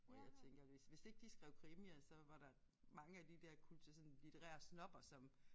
Hvor jeg tænker hvis hvis ikke de skrev krimier så var der mange af de der kulte sådan litterære snobber som